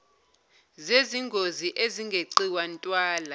zezingozi ezingeqiwa ntwala